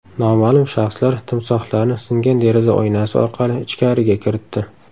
Noma’lum shaxslar timsohlarni singan deraza oynasi orqali ichkariga kiritdi.